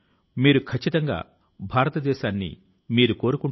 మీకు ఆసక్తి ఉన్న రంగాన్ని కనుగొనండి